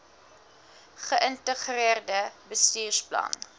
ge integreerde bestuursplan